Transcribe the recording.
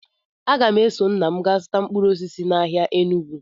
Aga m eso nna m gaa zụta mkpụrụ osisi n'ahịa Enugwu